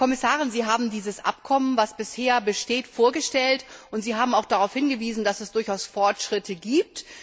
Frau Kommissarin, Sie haben dieses Abkommen, das bisher besteht, vorgestellt, und Sie haben auch darauf hingewiesen, dass es durchaus Fortschritte gibt.